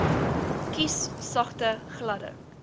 kies sagte gladde